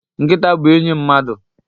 Nkita bu enyi mmadu